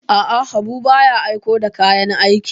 A'a, Habu ba ya aiko da kayan aiki.